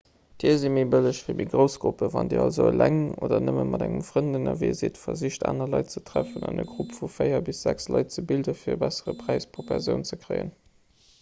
tier si méi bëlleg fir méi grouss gruppen wann dir also eleng oder nëmme mat engem frënd ënnerwee sidd versicht aner leit ze treffen an e grupp vu véier bis sechs leit ze bilden fir e bessere präis pro persoun ze kréien